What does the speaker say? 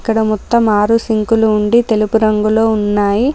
ఇక్కడ మొత్తం ఆరు సింక్లు ఉండి తెలుపు రంగులో ఉన్నాయి.